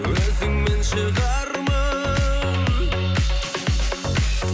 өзіңмен шығармын